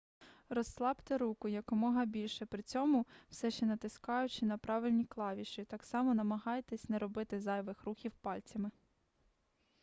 розслабте руку якомога більше при цьому все ще натискаючи на правильні клавіші так само намагайтесь не робити зайвих рухів пальцями